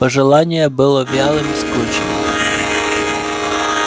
пожелание было вялым скучным